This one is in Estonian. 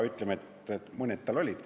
Mõned tal ikka olid.